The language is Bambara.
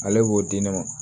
Ale b'o di ne ma